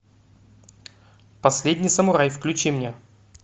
последний самурай включи мне